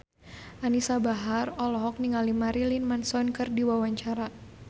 Anisa Bahar olohok ningali Marilyn Manson keur diwawancara